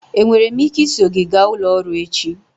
Enwere m ike iso gị gaa ụlọ ọrụ echi?